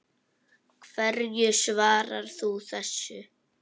Hverju svarar þú þessu?